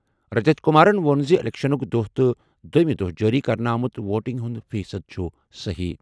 رجت کمارَن ووٚن زِ اِلیکشنُک دۄہ تہٕ دوٚیمہِ دۄہ جٲری کرنہٕ آمُت ووٹنگ ہُنٛد فیصد چھُ صحیح۔